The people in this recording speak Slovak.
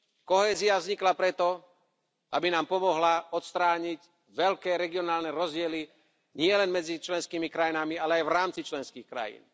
Kohézia vznikla preto, aby nám pomohla odstrániť veľké regionálne rozdiely nielen medzi členskými krajinami, ale aj v rámci členských krajín.